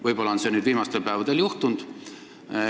Võib-olla on see nüüd viimastel päevadel juhtunud.